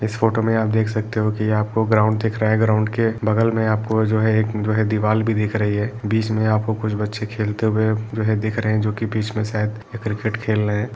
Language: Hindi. इस फोटो में आप देख सकते हो कि आपको ग्राउंड दिख रहा है। ग्राउंड के बगल में आपको जो है। एक वह दीवाल भी दिख रही है। बीच में आपको कुछ बच्चे खेलते हुए वह दिख रहे हैं जोकि बीच में शायद क्रिकेट खेल रहे है।